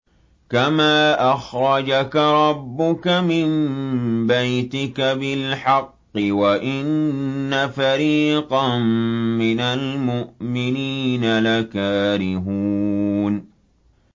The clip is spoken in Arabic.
كَمَا أَخْرَجَكَ رَبُّكَ مِن بَيْتِكَ بِالْحَقِّ وَإِنَّ فَرِيقًا مِّنَ الْمُؤْمِنِينَ لَكَارِهُونَ